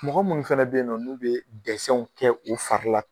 Mɔgɔ munnu fɛnɛ bɛ yen nɔ n'u bɛ kɛ u farila.